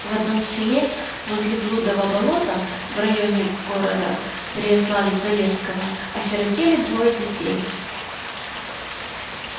в одном селе возле блудова болота в районе города переславль-залесского осиротели двое детей